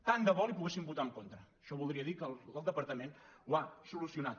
tant de bo li poguéssim votar en contra això voldria dir que el departament ho ha solucionat